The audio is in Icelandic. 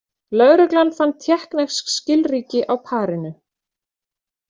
Lögreglan fann tékknesk skilríki á parinu